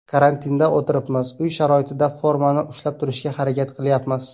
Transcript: Karantinda o‘tiribmiz, uy sharoitida formani ushlab turishga harakat qilyapmiz.